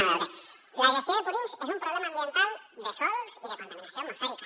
a veure la gestió de purins és un problema ambiental de sòls i de contaminació atmosfèrica